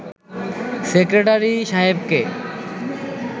secretary সাহেবকে